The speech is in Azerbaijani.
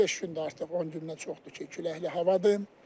15 gündür artıq, 10 gündən çoxdur ki, küləkli havadır.